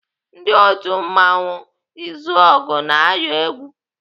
Ndị otu mmanwụ Izọgụ na-ayọ egwu.